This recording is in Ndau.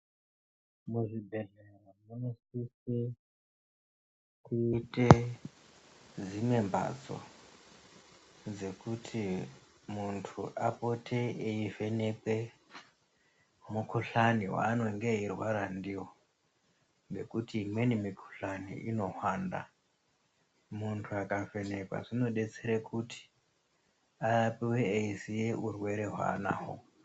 Muzvibhedhlera munosise kuite dzimwe mbatso dzekuti muntu apote eivhenekwe mukhuhlani waanonge eirwara ndiwo ngekuti imweni mikhuhlani inohwanda muntu akavhenekwa zvinodetsere kuti arapiwe eiziya urwere hwaanahwo.